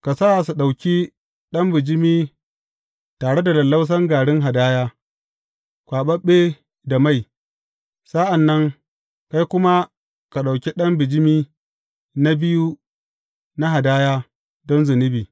Ka sa su ɗauki ɗan bijimi tare da lallausan garin hadaya, kwaɓaɓɓe da mai; sa’an nan, kai kuma ka ɗauki ɗan bijimi na biyu na hadaya don zunubi.